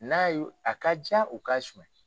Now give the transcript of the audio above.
N'a ye a ka ca u ka suɲɛni ye